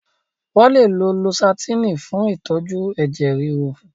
Wọ́n lè lo lósátẹ́ẹ̀nì fún ìtọ́jú ẹ̀jẹ̀ ríru.